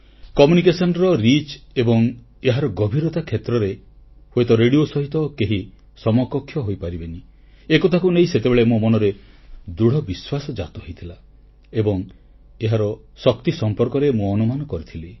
ଯୋଗାଯୋଗ ପହଂଚ ଏବଂ ଏହାର ପ୍ରଭାବ କ୍ଷେତ୍ରରେ ହୁଏତ ରେଡ଼ିଓ ସହିତ କେହି ସମକକ୍ଷ ହୋଇପାରିବନି ଏକଥାକୁ ନେଇ ସେତେବେଳେ ମୋ ମନରେ ଦୃଢ଼ବିଶ୍ୱାସ ଜାତ ହୋଇଥିଲା ଏବଂ ଏହାର ଶକ୍ତି ସମ୍ପର୍କରେ ମୁଁ ଅନୁମାନ କରିଥିଲି